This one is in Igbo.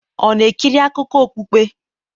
ọ̀ na-ekiri akụkọ okpukpe?